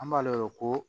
An b'a lɛ ko